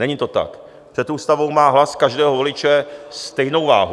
Není to tak, před ústavou má hlas každého voliče stejnou váhu.